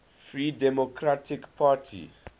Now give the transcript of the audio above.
free democratic party